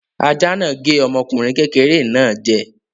Ajá náà gé ọmọkùnrin kékeré náà jẹ.